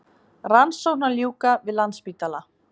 Rannsókn að ljúka við Landspítala